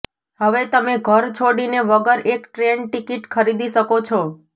હવે તમે ઘર છોડીને વગર એક ટ્રેન ટિકિટ ખરીદી શકો છો